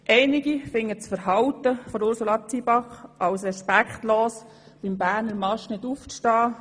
Einige empfinden das Verhalten von Ursula Zybach als respektlos, beim «Berner Marsch» nicht aufzustehen.